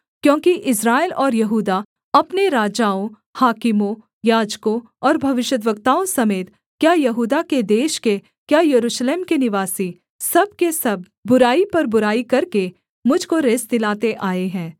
क्योंकि इस्राएल और यहूदा अपने राजाओं हाकिमों याजकों और भविष्यद्वक्ताओं समेत क्या यहूदा देश के क्या यरूशलेम के निवासी सब के सब बुराई पर बुराई करके मुझ को रिस दिलाते आए हैं